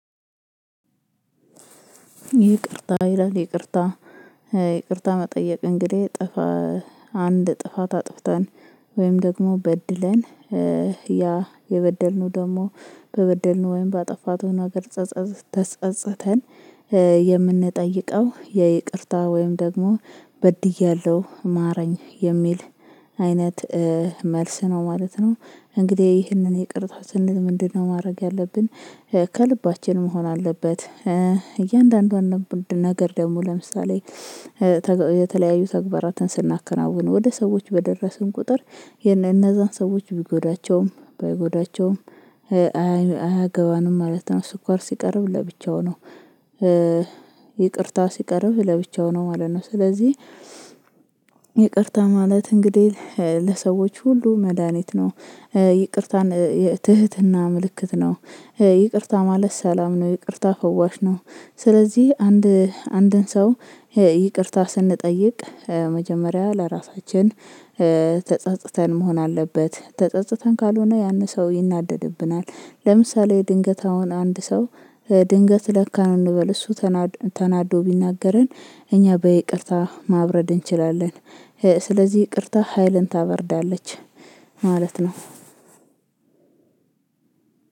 ይቅርታ ይላል ይቅርታ ይቅርታ መጠየቅ እንግዲህ ጥፋ ጥፋት አጥፍተን ወይም ደግሞ በድለን ያ የበደልነው ደግሞ በበደልነው ወይም በአጠፋቱ ነገር ተስቀጽተን የምንጠይቀው የይቅርታ ወይም ደግሞ በድያለሁ ማረኝ የሚል አይነት መልስ ነው ማለት ነው። እንግዲህ ይህንን ይቅርታ ስንል ምንድነው ማድረግ ያለብን ከልባችን መሆን አለበት። እያንዳንዷን ነገር ደግሞ ለምሳሌ የተለያዩ ተግባራትን ስናከናውን ወደ ሰዎች በደረስን ቁጥር እነዛን ሰዎች ቢጎዳቸውም ባይጎዳቸውም አያገባንም ማለት ነው። ስኳር ሲቀርብ ለብቻው ነው ይቅርታ ሲቀርብ ለብቻው ነው ማለት ነው። ስለዚህ ይቅርታ ማለት እንግዲህ ለሰዎች ሁሉ መድሃኒት ነው። ይቅርታን ትህትና ምልክት ነው ይቅርታ ማለት ሰላም ነው ይቅርታ ፈዋሽ ነው። ስለዚህ አንድ አንድን ሰው ይቅርታ ስንጠይቅ መጀመሪያ ለራሳችን ተጸጽተን መሆን አለበት ተጸጽተን ካልሆነ ያንን ሰው ይናደድብናል። ለምሳሌ ድንገት አሁን አንድ ሰው ድንገት ለካን እንበል እሱ ተናዶ ቢናገረን እኛ በይቅርታ ማብረድ እንችላለን። ስለዚህ ይቅርታ ሀይልን ታበርዳለች ማለት ነው።